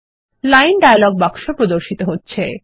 line dialogue বাক্স প্রদর্শিত হচ্ছে